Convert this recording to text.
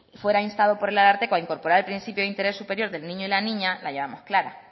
fuera instado por el ararteko a incorporar el principio de interés superior del niño y la niña la llevamos clara